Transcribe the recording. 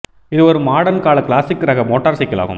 இது ஓர் மாடர்ன் கால கிளாசிக் ரக மோட்டார்சைக்கிள் ஆகும்